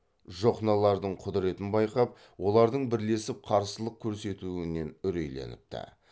жохнолардың құдыретін байқап олардың бірлесіп қарсылық көрсетуінен үрейленіпті